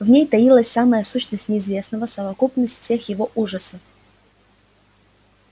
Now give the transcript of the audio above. в ней таилась самая сущность неизвестного совокупность всех его ужасов